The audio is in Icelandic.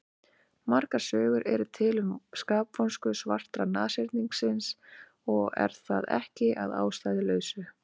Margar sögur eru til um skapvonsku svarta nashyrningsins og er það ekki að ástæðulausu.